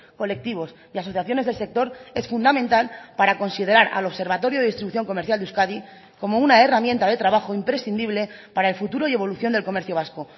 colectivos y asociaciones del sector es fundamental para considerar al observatorio de distribución comercial de euskadi como una herramienta de trabajo imprescindible para el futuro y evolución del comercio vasco